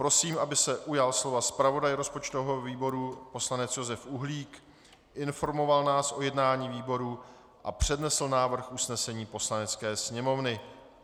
Prosím, aby se ujal slova zpravodaj rozpočtového výboru poslanec Josef Uhlík, informoval nás o jednání výboru a přednesl návrh usnesení Poslanecké sněmovny.